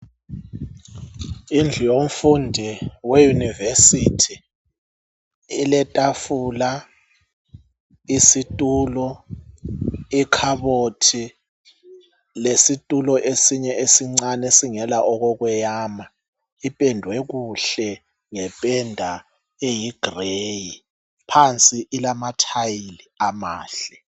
Indlu yomfundi weyunivesithi letafula, isitulo, ikhabothi lesitulo ezinye esincane esingela okokuyama ,ipendwe kuhle ngependa eyigireyi phansi ilamathayili amahle.